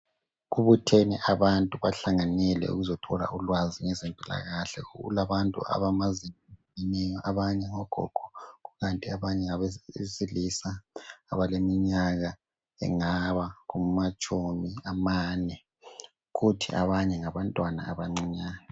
Kubuthene abantu bahlanganyele ukuzothola ulwazi ngezempilakahle. Kulabantu abamazi-miyo, abanye ngogogo, kukanti abanye ngabesilisa abaleminyaka engaba kumatshumi amane, kuthi abanye ngabantwana abancinyane.